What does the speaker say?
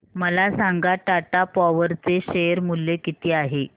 मला सांगा टाटा पॉवर चे शेअर मूल्य किती आहे